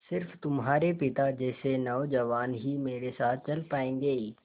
स़िर्फ तुम्हारे पिता जैसे नौजवान ही मेरे साथ चल पायेंगे